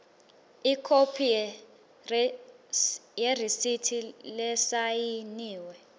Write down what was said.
ikhophi yeresithi lesayiniwe